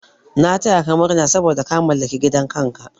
Na taya ka murna saboda ka mallaki gidan kanka.